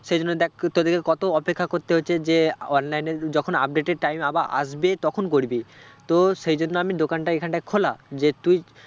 সেই জন্য দেখ তোদেরকে কত অপেক্ষা করতে হচ্ছে যে online এ যখন update এর time আবার আসবে তখন করবি তো সেই জন্য আমি দোকানটা এখানটায় খোলা যে তুই